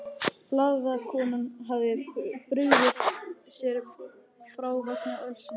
Blaðakonan hafði brugðið sér frá vegna ölsins.